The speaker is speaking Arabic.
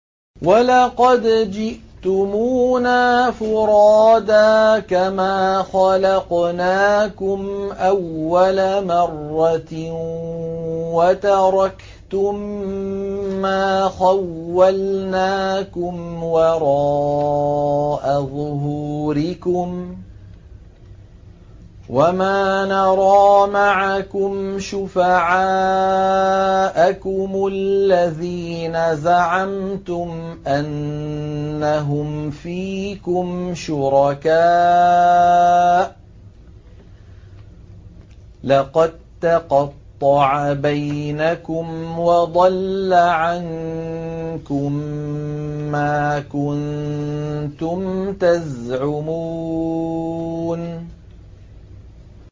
وَلَقَدْ جِئْتُمُونَا فُرَادَىٰ كَمَا خَلَقْنَاكُمْ أَوَّلَ مَرَّةٍ وَتَرَكْتُم مَّا خَوَّلْنَاكُمْ وَرَاءَ ظُهُورِكُمْ ۖ وَمَا نَرَىٰ مَعَكُمْ شُفَعَاءَكُمُ الَّذِينَ زَعَمْتُمْ أَنَّهُمْ فِيكُمْ شُرَكَاءُ ۚ لَقَد تَّقَطَّعَ بَيْنَكُمْ وَضَلَّ عَنكُم مَّا كُنتُمْ تَزْعُمُونَ